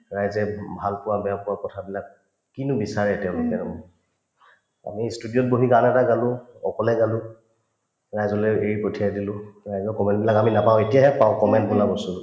ৰাইজে উম ভালপোৱা বেয়াপোৱা কথাবিলাক কিনো বিচাৰে তেওঁলোকে আমি studio ত বহি গান এটা গালো অকলে গালো ৰাইজলে এৰি পঠিয়াই দিলো ৰাইজৰ comment বিলাক আমি নাপাওঁ এতিয়াহে পাওঁ comment বোলা বস্তুতো